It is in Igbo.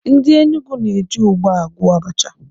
Ndị Enugwu na-eji ugba agwọ Abacha